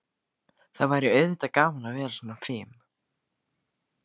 Það væri auðvitað gaman að vera svona fim.